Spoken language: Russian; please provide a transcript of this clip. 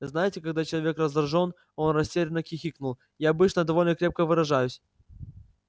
знаете когда человек раздражён он растерянно хихикнул я обычно довольно крепко выражаюсь